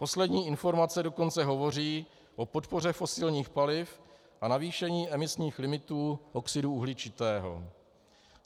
Poslední informace dokonce hovoří o podpoře fosilních paliv a zvýšení emisních limitů oxidu uhličitého.